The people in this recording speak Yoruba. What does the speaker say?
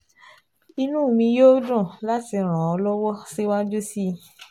Inú mi yóò dùn láti ràn ọ́ lọ́wọ́ síwájú sí i